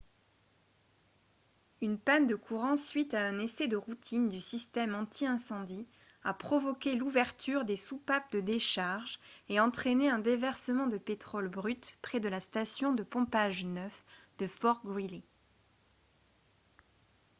une panne de courant suite à un essai de routine du système anti-incendie a provoqué l'ouverture des soupapes de décharge et entraîné un déversement de pétrole brut près de la station de pompage 9 de fort greely